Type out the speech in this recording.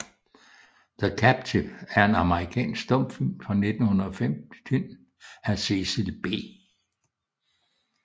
The Captive er en amerikansk stumfilm fra 1915 af Cecil B